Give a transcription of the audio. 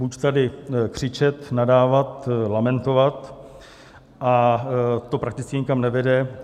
Buď tady křičet, nadávat, lamentovat - a to prakticky nikam nevede.